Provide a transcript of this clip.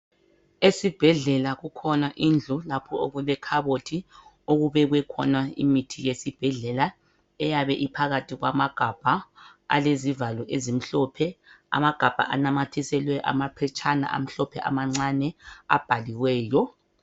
Esibhedlela kukhona indlu lapho okulekhabothi, okubekwe khona imithi yesbhedlela eyabe iphakathi kwamagabha alezivalo ezimhlophe, amagabha anamathiselwe amaphetshana amhlophe amancane abhaliweyo.